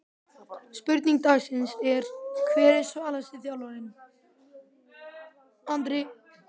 Spurning dagsins er: Hver er svalasti þjálfarinn?